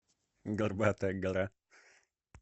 горбатая гора